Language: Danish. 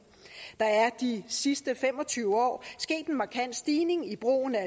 der er de sidste fem og tyve år sket en markant stigning i brugen af